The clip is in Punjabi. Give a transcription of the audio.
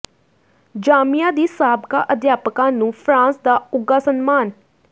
ਜਾਮੀਆ ਦੀ ਸਾਬਕਾ ਅਧਿਆਪਕਾ ਨੂੰ ਫਰਾਂਸ ਦਾ ਉੱਘਾ ਸਨਮਾਨ